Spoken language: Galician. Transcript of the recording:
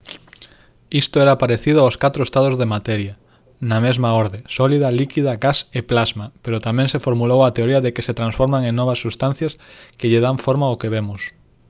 isto era parecido aos catro estados da materia na mesma orde: sólida líquida gas e plasma pero tamén se formulou a teoría de que se transforman en novas substancias que lle dan forma ao que vemos